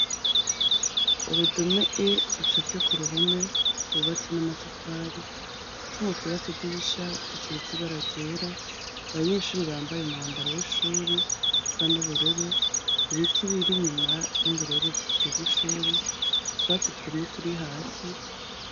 Uru dome E rucafye ku ruhome rwubatse n'amatafari utwuma twubatse dirisha dusize ibara ryera, abanyeshuri bambaye umwambaro w'ishuri ,usa n'ubururu ibiti biri nyuma n'imbere y'uruzitiro rw'ishuri utwatsi twumye turi hasi,